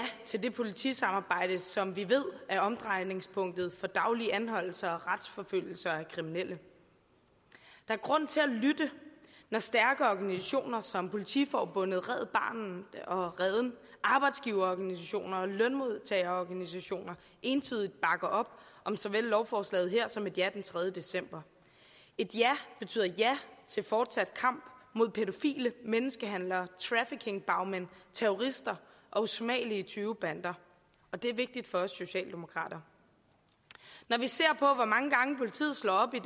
til det politisamarbejde som vi ved er omdrejningspunktet for daglige anholdelser og retsforfølgelser af kriminelle der er grund til at lytte når stærke organisationer som politiforbundet red barnet og reden og arbejdsgiverorganisationer og lønmodtagerorganisationer entydigt bakker op om såvel lovforslaget her som et ja den tredje december et ja betyder ja til fortsat kamp mod pædofile menneskehandlere traffickingbagmænd terrorister og usmagelige tyvebander og det er vigtigt for os socialdemokrater når vi ser på hvor mange gange politiet slår op i